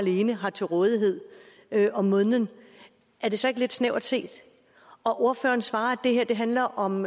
alene har til rådighed om måneden er det så ikke lidt snævert set ordføreren svarer at det her handler om